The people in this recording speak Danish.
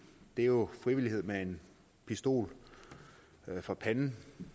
det er jo frivillighed med en pistol for panden